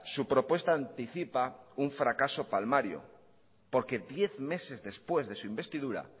su propuesta anticipa un fracaso palmario porque diez meses después de su investidura